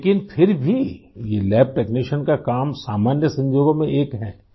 لیکن پھر بھی یہ لیب ٹیکنیشین کا کام عام کاموں میں سے ایک ہے